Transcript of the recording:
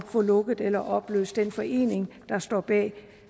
få lukket eller opløst den forening der står bag